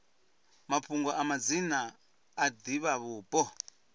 mafhungo a madzina a divhavhupo